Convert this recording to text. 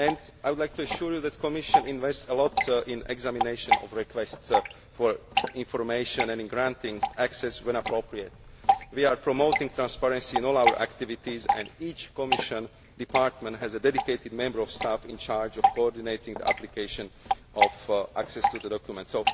I would like to assure you that the Commission invests a great deal in the examination of requests for information and in granting access when appropriate. We are promoting transparency in all our activities and each Commission department has a dedicated member of staff in charge of coordinating the application of access to documents.